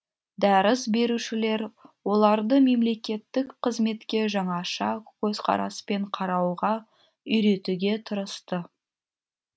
дәріс берушілер оларды мемлекеттік қызметке жаңаша көзқараспен қарауға үйретуге тырысты